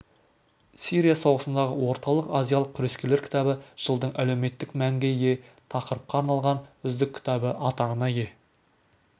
сирия соғысындағы орталық азиялық күрескерлер кітабы жылдың әлеуметтік мәнге ие тақырыпқа арналған үздік кітабы атағына ие